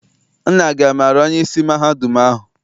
Nna gị amaara onyeisi mahadum ahụ?